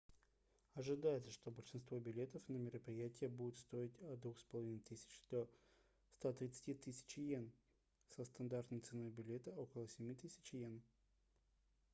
ожидается что большинство билетов на мероприятия будет стоить от 2 500 до 130 000 иен со стандартной ценой билета около 7 000 иен